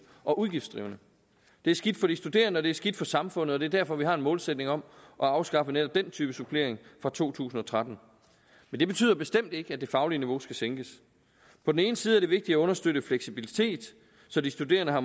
og udgiftsdrivende det er skidt for de studerende og det er skidt for samfundet og det er derfor vi har en målsætning om at afskaffe netop den type supplering fra to tusind og tretten men det betyder bestemt ikke at det faglige niveau skal sænkes på den ene side er det vigtigt at understøtte fleksibilitet så de studerende har